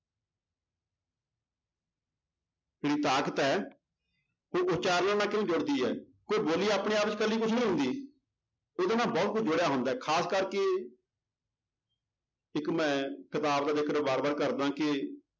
ਜਿਹੜੀ ਤਾਕਤ ਹੈ ਉਹ ਉਚਾਰਨ ਨਾਲ ਕਿਉਂ ਜੁੜਦੀ ਹੈ, ਕੋਈ ਬੋਲੀ ਆਪਣੇ ਆਪ 'ਚ ਇਕੱਲੀ ਕੁਛ ਨੀ ਹੁੰਦੀ ਉਹਦੇ ਨਾਲ ਬਹੁਤ ਕੁਛ ਜੁੜਿਆ ਹੁੰਦਾ ਹੈ ਖ਼ਾਸ ਕਰਕੇ ਇੱਕ ਮੈਂ ਕਿਤਾਬ ਦਾ ਜ਼ਿਕਰ ਵਾਰ ਵਾਰ ਕਰਦਾਂ ਕਿ